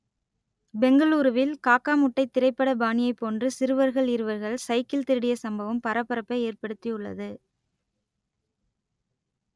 பெங்களூருவில் காக்கா முட்டை திரைப்பட பாணியைப் போன்று சிறுவர்கள் இருவர்கள் சைக்கிள் திருடிய சம்பவம் பரபரப்பை ஏற்படுத்தி உள்ளது